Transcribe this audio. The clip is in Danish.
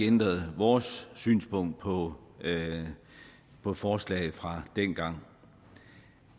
ændret vores synspunkt på på forslaget fra dengang